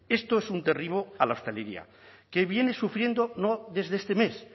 esto es un derribo a la hostelería que viene sufriendo no desde este mes